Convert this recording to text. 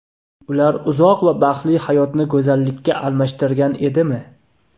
Ular uzoq va baxtli hayotni go‘zallikka almashtirgan edimi?